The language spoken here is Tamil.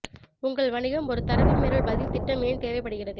உங்கள் வணிகம் ஒரு தரவு மீறல் பதில் திட்டம் ஏன் தேவைப்படுகிறது